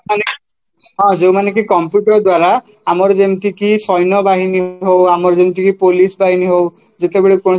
ହଁ ଯୋଉମାନେକି computer ଦ୍ଵାରା ଆମର ଯେମିତିକି ସୈନ୍ୟବାହିନୀ ହଉ ଆମର ଯେମିତି police ବାହିନୀ ହଉ ଯେତେବେଳେ କୌଣସି